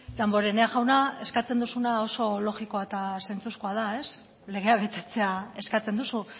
damborenean jauna eskatzen duzuna oso logikoa eta zentzuzkoa da legea betetzea eskatzen duzu